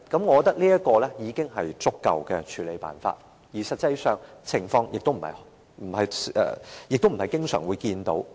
我認為這已是足夠的處理辦法，而實際上前述的情況，亦不會經常見到。